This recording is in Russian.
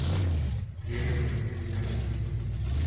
триллер во все тяжкие